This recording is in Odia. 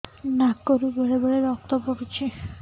ନାକରୁ ବେଳେ ବେଳେ ରକ୍ତ ପଡୁଛି